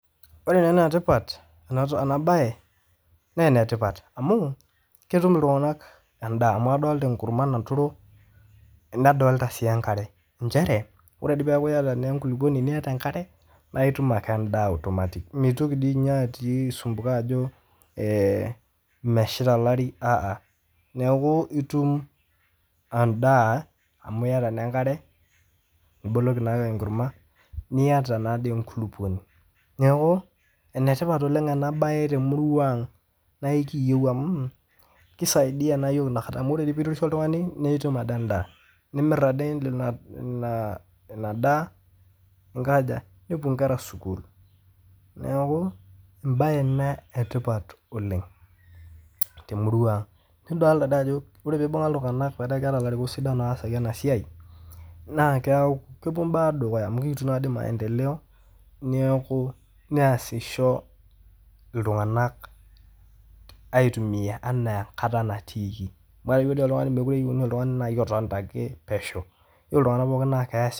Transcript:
Ore taa naa enetipata ene baye na enetipat amuu ketum ltunganak enda amu adolita enkurrumwa naturo nadolia suii enkare, inchere ore dei paaku ieta dei inkuluponi nieta enkare naa itum ake endaa automatically, meitoki dei ninye aisumbuka ajo meesheta elari haha, naaku itum endaa mau iyeta naa enkare, niboloki naaake enkurrumwa nieta naa dei enkuluponi, neaku enetipat oleng ena baye te murua aang' naa ekiyeu amuu keisaidia naa yool inakata amu ore dei piiremisho oltungani na itum ake endaa, naa imir ake ina daa ningoja, nepo inkera sukuul naaku, embaye ina etipat oleng te murua aang',nidolita dei ajo ore peibung'a ltunganak metaa keata larikok sidan loosaki ena siaai naa kepo imbaa dukuya amu kelotu naa dei maendeleo neaku neashisho ltunganak aitumiya enaa enkata natiiki, paa teniyeu ninye oltungani mekore ninyeu ltungani naa iton pesheu, keyeu ltungana taa keasisho.